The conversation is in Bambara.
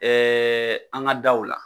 an ka daw la